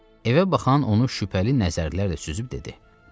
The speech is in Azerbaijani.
Evə baxan onu şübhəli nəzərlərlə süzüb dedi: